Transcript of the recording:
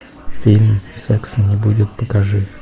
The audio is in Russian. фильм секса не будет покажи